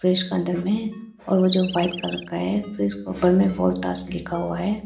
Fridge का अंदर में और जो व्हाइट कलर का है फ्रिज के ऊपर में वोल्टास लिखा हुआ है।